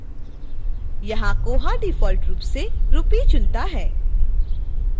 यहाँ koha default रूप से rupee चुनता है